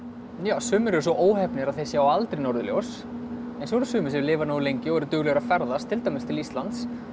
sumir eru svo óheppnir að þeir sjá aldrei norðurljós svo eru sumir sem lifa nógu lengi og eru duglegir að ferðast til dæmis til Íslands